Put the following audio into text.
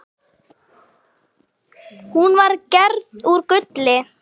Hún var gerð úr gulli.